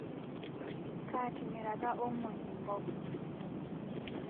Kaatimiraka Omondi nkop